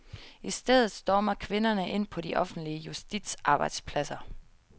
I stedet stormer kvinderne ind på de offentlige juristarbejdspladser.